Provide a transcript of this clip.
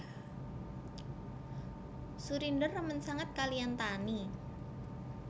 Surinder remen sanget kaliyan Taani